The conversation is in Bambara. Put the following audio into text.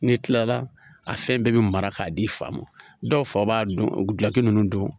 N'i kilala a fɛn bɛɛ bi mara k'a di i fa ma dɔw fa b'a dɔn guki nunnu don